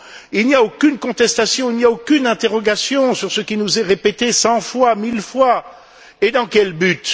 Il n'y a aucune contestation, il n'y a aucune interrogation sur ce qui nous est répété cent fois, mille fois, et dans quel but?